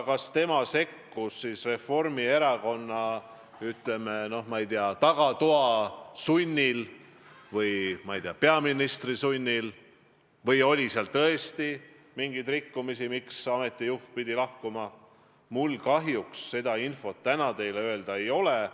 Kas ta sekkus Reformierakonna, ma ei tea, tagatoa sunnil või, ma ei tea, peaministri sunnil või oli seal tõesti mingeid rikkumisi, miks ameti juht pidi lahkuma, selle kohta mul kahjuks täna teile infot anda ei ole.